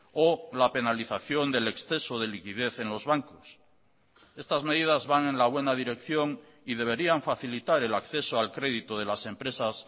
o la penalización del exceso de liquidez en los bancos estas medidas van en la buena dirección y deberían facilitar el acceso al crédito de las empresas